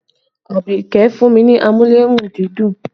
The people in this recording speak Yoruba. Abike fún mi ní amúlé-run-dídùn